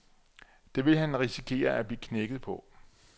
Det vil han risikere at blive knækket på.